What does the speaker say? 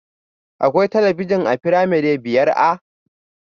Akwai talabijin a firamare biyar A?